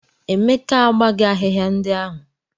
Emeka agbaghị ahịhịa ndị ahụ.